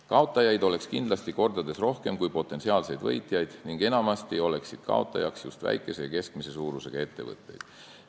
Kaotajaid oleks kindlasti mitu korda rohkem kui potentsiaalseid võitjaid ning enamasti oleksid kaotajaks just väikese ja keskmise suurusega ettevõtted.